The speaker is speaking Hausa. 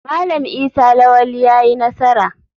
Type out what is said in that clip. Malam Isa lawali yayi nasara.